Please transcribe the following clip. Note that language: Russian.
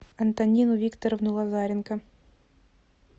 антонину викторовну лазаренко